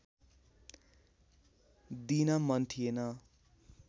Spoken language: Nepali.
दिन मन थिएन